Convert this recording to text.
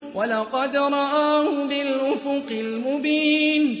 وَلَقَدْ رَآهُ بِالْأُفُقِ الْمُبِينِ